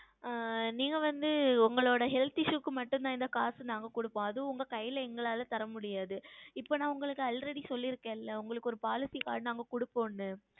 ஆஹ் நீங்கள் வந்து உங்களுடைய Health Issue க்கு மட்டும் தான் இந்த காசு நாங்கள் கொடுப்போம் அது உங்கள் கைகளில் எங்களால் தரமுடியாது இப்பொழுது நான் உங்களுக்கு Already சொல்லிருக்கேன் இல்லையா உங்களுக்கு ஓர் Policy Plan கொடுப்போம் என்று